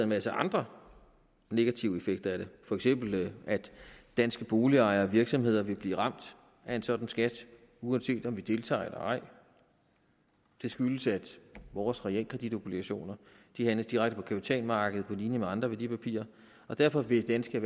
masse andre negative effekter af det for eksempel at danske boligejere og virksomheder vil blive ramt af en sådan skat uanset om vi deltager eller ej skyldes at vores realkreditobligationer handles direkte på kapitalmarkedet på linje med andre værdipapirer derfor vil danske